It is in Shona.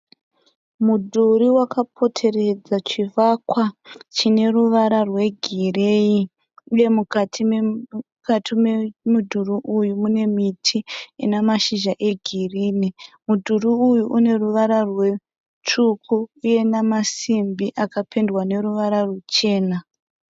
Mudhuri wakapoteredza chivakwa chine ruvara rwegireyi uye mukati memudhuri uyu mune miti ina mashizha egirini. Mudhuri uyu une ruvara rutsvuku uye namasimbi akapendwa neruvara ruchena.